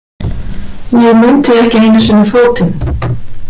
Ég mundi ekki einu sinni fótinn.